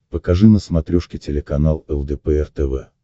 покажи на смотрешке телеканал лдпр тв